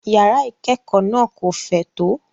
Yàrá ìkẹ́kọ̀ọ́ náà kò fẹ̀ tó.